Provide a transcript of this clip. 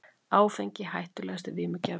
Áfengi hættulegasti vímugjafinn